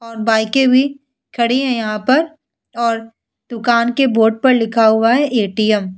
और बाइके भी खड़ी है यहाँ पर और दुकान के बोर्ड पर लिखा हुआ है ए.टी.एम. ।